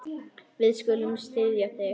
Við skulum styðja þig.